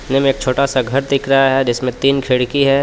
Film एक छोटा सा घर दिख रहा है जिसमें तीन खिड़की है.